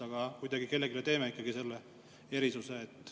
Aga kuidagi teeme kellelegi ikka selle erisuse.